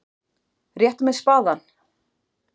Réttu mér spaðann!